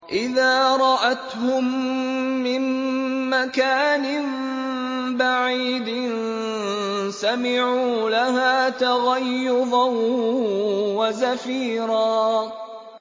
إِذَا رَأَتْهُم مِّن مَّكَانٍ بَعِيدٍ سَمِعُوا لَهَا تَغَيُّظًا وَزَفِيرًا